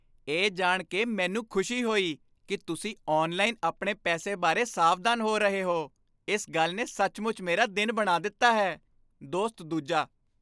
ਇਹ ਜਾਣ ਕੇ ਮੈਨੂੰ ਖੁਸ਼ੀ ਹੋਈ ਕੀ ਤੁਸੀਂ ਔਨਲਾਈਨ ਆਪਣੇ ਪੈਸੇ ਬਾਰੇ ਸਾਵਧਾਨ ਹੋ ਰਹੇ ਹੋ, ਇਸ ਗੱਲ ਨੇ ਸੱਚਮੁੱਚ ਮੇਰਾ ਦਿਨ ਬਣਾ ਦਿੱਤਾ ਹੈ ਦੋਸਤ ਦੂਜਾ